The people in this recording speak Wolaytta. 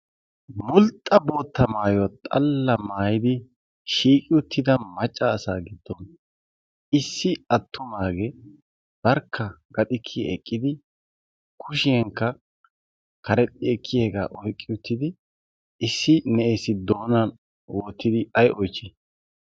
mulxxa bootta maayya xalla maayidi shiiqi uttida macca asaa giddon issi attumaagee barkka gaxikkii eqqidi kushiyankka karexxi ekkiyaagaa oyqqi uttidi issi na'essi doonan oottidi ay oychchii?